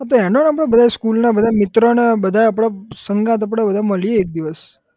હા તો એનો number બધા school ના બધા મિત્રો ને બધા આપડે સંગાથ આપડે બધા મળીએ એક દિવસ